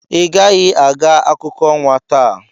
Ị gaghị aga akụkọ ọnwa taa.